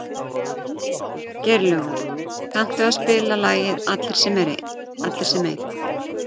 Geirlaugur, kanntu að spila lagið „Allir sem einn“?